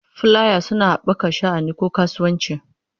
Fulaya suna haɓaka sha'ani ko kasuwanci.